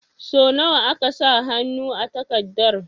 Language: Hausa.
Sau nawa aka sa hannu a takardar?